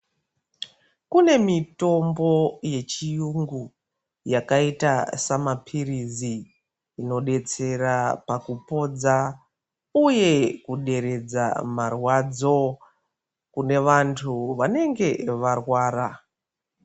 Kune mitombo yechi yungu yakaita sama piritsi ino betsera paku podza uye ku deredza marwadzo kune vandu vanenge varwara .